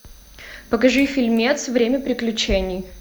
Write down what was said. покажи фильмец время приключений